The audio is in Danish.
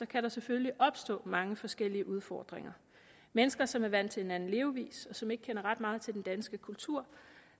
kan der selvfølgelig opstå mange forskellige udfordringer mennesker som er vant til en anden levevis og som ikke kender ret meget til den danske kultur